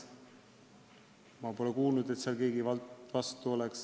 Ma pole kuulnud, et seal keegi vastu oleks.